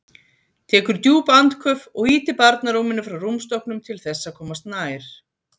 Tekur djúp andköf og ýtir barnarúminu frá rúmstokknum til þess að komast nær.